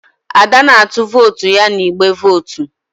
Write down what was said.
Ada na-atụ vootu ya n'igbe vootu.